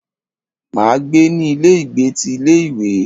Máa gbé ní ilé ìgbé ti ilé ìwé.